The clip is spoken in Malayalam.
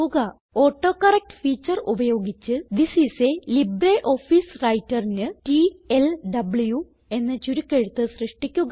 ഓട്ടോകറക്ട് ഫീച്ചർ ഉപയോഗിച്ച് തിസ് ഐഎസ് ലിബ്രിയോഫീസ് Writerന് ടിഎൽഡബ്ലു എന്ന ചുരുക്കെഴുത്ത് സൃഷ്ടിക്കുക